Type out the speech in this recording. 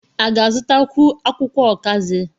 A ga-azụtakwu akwụkwọ ọkazị?